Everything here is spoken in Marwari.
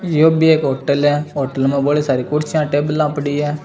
यो भी एक होटल है होटल मे बड़ी सारी कुर्सियाँ टेबला पड़ी है।